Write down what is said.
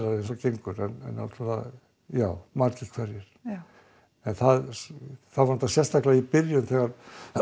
eins og gengur en náttúrulega já margir hverjir það var sérstaklega í byrjun þegar